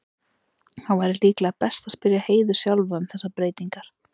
Það væri líklega best að spyrja Heiðu sjálfa um þessar breytingar.